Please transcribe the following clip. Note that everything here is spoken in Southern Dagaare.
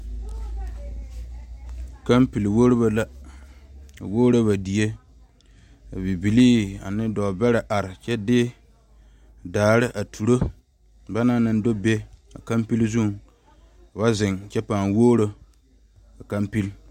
Kanpile woɔrobo la a woro ba die ka bibile ane dɔɔ bɛre are kyɛ de daare a turo banaŋ naŋ do be a kanpile zu ka ba zeŋ kyɛ paa woro a kanpile.